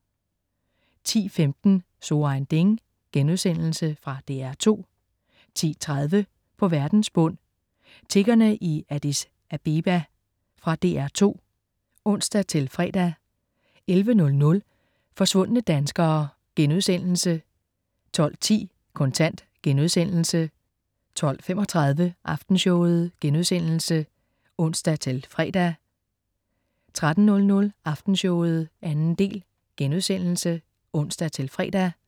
10.15 So ein Ding.* Fra DR2 10.30 På verdens bund. Tiggerne i Addis Abeba. Fra DR2 (ons-fre) 11.00 Forsvundne danskere* 12.10 Kontant* 12.35 Aftenshowet* (ons-fre) 13.00 Aftenshowet 2. del* (ons-fre)